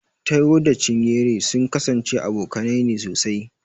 Taiwo da Chinyere sun kasance abokanai ne sosai.